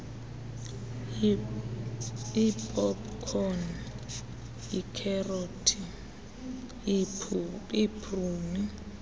iipopkhoni iikherothi iipruni